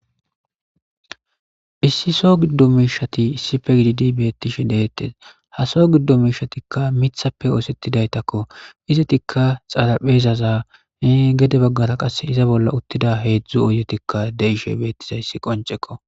issi so giddo miishati issife gididi beettishe deettes haso giddo miishatikka mithappe oosettidaytakko izetikka xaraphezaza gede baggara qass iza bolla uttida heedzdzu uyetikka deishe beettizayssi qoncekko